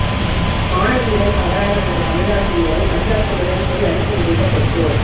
மாணவியிடம் தவறாக நடந்த தமிழாசிரியரை அடியாட்களுடன் போய் அடித்து உதைத்த பெற்றோர்